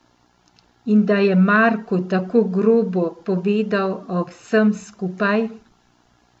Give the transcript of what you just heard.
In da je Marku tako grobo povedal o vsem skupaj.